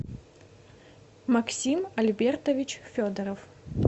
максим альбертович федоров